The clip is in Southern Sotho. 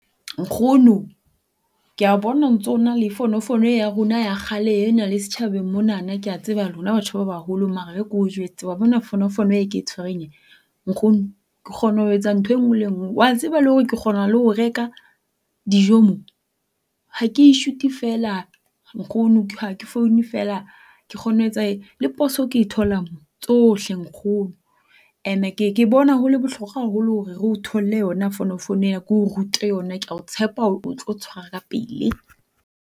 Nkgono ke ya bona o ntso na le fonofono e ya rona ya kgale ena, le setjhabeng mona kea tseba lona batho ba baholo. Mara e re ke o jwetse wa bona fonofono e e ke e tshwereng e, nkgono ke kgona ho etsa ntho enngwe le enngwe. Wa tseba le hore ke kgona ho reka dijo mo? Ha ke i-shoot-e feela nkgono ha ke foune feela ke kgona ho etsa . Le poso ke e thola mo, tsohle nkgono. Ene ke ke bona ho le bohlokwa haholo hore re o tholle yona fonofono ena ke o rute yona. Kea o tshepa hore o tlo tshwara kapele.